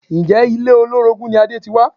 Ǹjẹ́ ilé olórogún ni Adé ti wá?